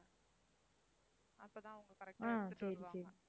அப்பதான் அவங்க correct ஆ எடுத்துட்டு வருவாங்க.